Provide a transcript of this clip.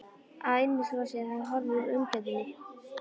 Að innvolsið hefði horfið úr umgjörðinni.